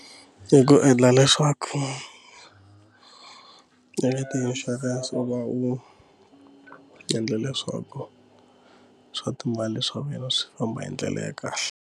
I ku endla leswaku i ti-insurance u va u endle leswaku swa timali swa wena swi famba hi ndlela ya kahle.